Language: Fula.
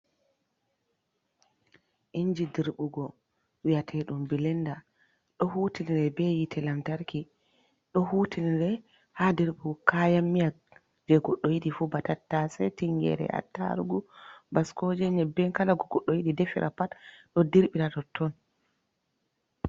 Inji dirɓugo wiyeteeɗum bilenda, ɗo hutinire be yiite lantarki, ɗo hutinire haa dirɓugo kayan miya, jey goɗɗo yiɗi fu ba, tattasey, tinngeere, attarugu, baskooje, nyebbe, kala ko goɗɗo yiɗi defira pat, ɗo dirɓira totton.